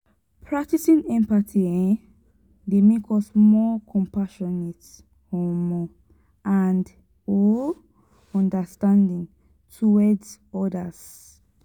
practicing empathy um dey make us more compassionate um and um understanding towards odas.